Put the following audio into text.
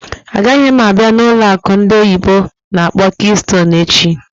Agaghị m a bịa n'ụlọ akụ ndị oyibo n'akpọ "Keystone" echi!